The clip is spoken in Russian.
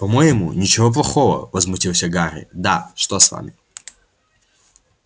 по-моему ничего плохого возмутился гарри да что с вами